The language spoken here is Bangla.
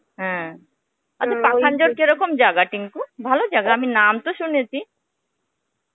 হম , আচ্ছা পাখান্জর কিরকম জায়গা টিঙ্কু? ভালো জায়গা আমি নাম তো শুনেছি.